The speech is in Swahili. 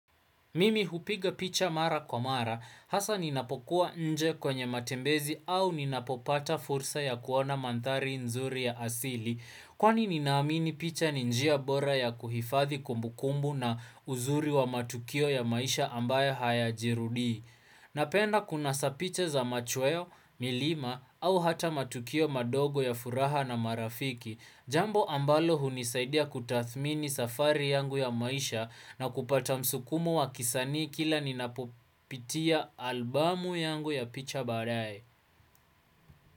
Mimi hupiga picha mara kwa mara, hasa ninapokuwa nje kwenye matembezi au ninapopata fursa ya kuona mandhari nzuri ya asili, kwani ninaamini picha ni njia bora ya kuhifathi kumbukumbu na uzuri wa matukio ya maisha ambayo hayajirudii. Napenda kunasa picha za machweo, milima au hata matukio madogo ya furaha na marafiki, Jambo ambalo hunisaidia kutathmini safari yangu ya maisha na kupata msukumo wa kisanii kila ninapopitia albamu yangu ya picha baadae.